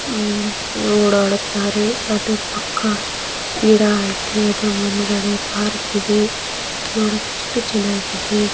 ಹಮ್ಮ್ ಲೋಡ್ ಓಡಾಟರ್ ಅದ್ರ್ ಪಕ್ಕ ಗಿಡ ಏವೈತೇ ಅದ್ರ್ ಮುಂದ್ಗಡೆ ಪಾರ್ಕ್ ಇದೆ ನೋಡಕ್ ಎಷ್ಟು ಚೆನ್ನಾಗಿದೆ.